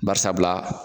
Bari sabula